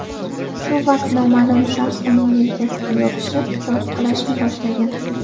Shu vaqt noma’lum shaxs uning yelkasiga yopishib, tortqilashni boshlagan.